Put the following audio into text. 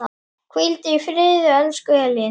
Hvíldu í friði, elsku Elín.